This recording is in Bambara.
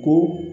Ko